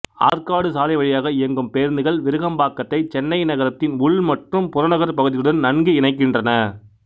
ஆற்காடு சாலை வழியாக இயங்கும் பேருந்துகள் விருகம்பாக்கத்தை சென்னை நகரத்தின் உள் மற்றும் புறநகர்ப் பகுதிகளுடன் நன்கு இணைக்கின்றன